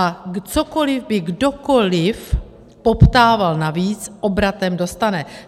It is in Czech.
A cokoli by kdokoli poptával navíc, obratem dostane.